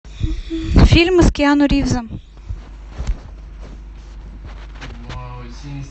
фильмы с киану ривзом